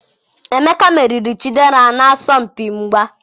emeka meriri Chidera n'asọmpi mgba.